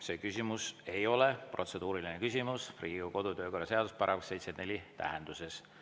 See küsimus ei ole protseduuriline küsimus Riigikogu kodu‑ ja töökorra seaduse § 74 tähenduses.